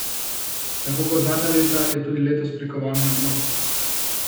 Tako kot zadnja leta je tudi letos prikovana na dno.